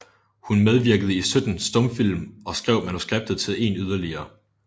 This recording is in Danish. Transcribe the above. Hun medvirkede i 17 stumfilm og skrev manuskriptet til en yderligere